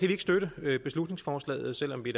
vi ikke støtte beslutningsforslaget selv om vi